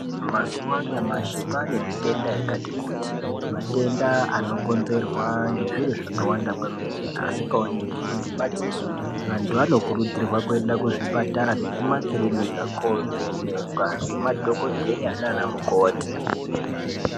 Mazuva anyamashi kwane mitenda yakati kuti, matenda ano konzerwa ngezviro zvakawanda kwemene asikaoneki nemadziso. Antu ano kurudzirwa kuenda kuzvipatara nekumakirinika kovhenekwa ngema dhogodheya nana mukoti.